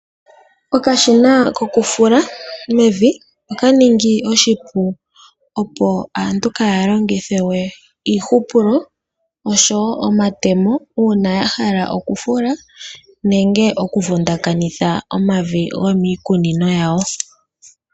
Okashina kokufula mevi oka ningi oshipu, opo aantu kaya longithe we omatemo nengè iihupulo uuna yahala okufula nenge okuvundakanitha omavi gomiikunino yawo.